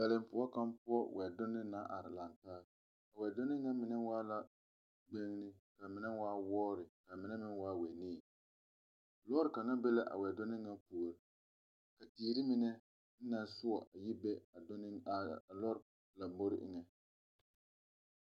Daleŋpoɔ kaŋa poɔ wɛdonne naŋ are, laŋɛ taa, a wɛdoone ŋa mine waa la gbenni ka mine waa wɔɔre ka mine meŋ waa wɛnii, lɔɔre kaŋa meŋ be la a wɛdonne ŋa puori ka tiire mine naŋ sɔɔ a yi be lɔre lombori eŋɛ.